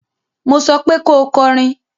Mo sọ pé ko kọrin